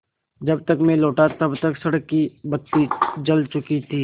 जब तक मैं लौटा तब तक सड़क की बत्ती जल चुकी थी